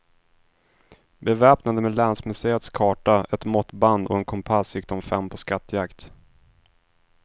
Beväpnade med länsmuseets karta, ett måttband och en kompass gick de fem på skattjakt.